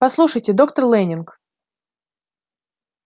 послушайте доктор лэннинг